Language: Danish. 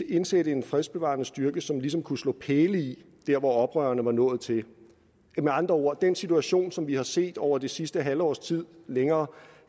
indsætte en fredsbevarende styrke som ligesom kunne slå pæle i der hvor oprørerne var nået til med andre ord er den situation som vi har set over det sidste halve års tid eller længere